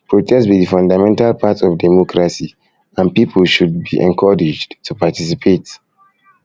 protest be di fundamental part of democracy and people should be encouraged to participate